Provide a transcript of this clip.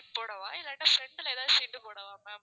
போடவா? இல்லாட்டா front ல ஏதவாது seat போடவா ma'am